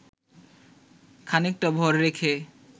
খানিকটা ভর রেখে